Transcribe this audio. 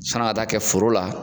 Sann'an ka taa kɛ foro la